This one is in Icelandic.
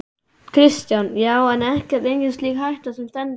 Kristján: Já, en ekkert, engin slík hætta sem stendur?